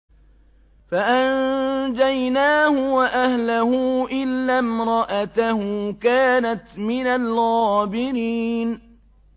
فَأَنجَيْنَاهُ وَأَهْلَهُ إِلَّا امْرَأَتَهُ كَانَتْ مِنَ الْغَابِرِينَ